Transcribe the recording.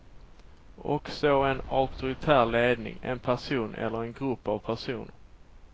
Och så en auktoritär ledning, en person eller en grupp av personer.